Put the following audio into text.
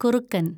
കുറുക്കന്‍